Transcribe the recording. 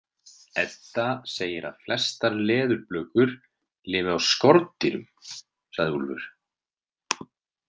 Edda segir að flestar leðurblökur lifi á skordýrum, sagði Úlfur.